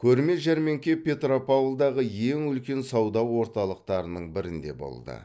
көрме жәрмеңке петропавлдағы ең үлкен сауда орталықтарының бірінде болды